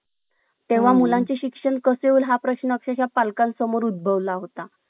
तुम्हाला ते सांगायचं, तुम्ही तुमचं काय-काय केलं, काय नाई.